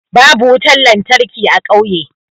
Babu wutan lantarki a ƙauye.